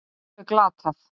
Það var alveg glatað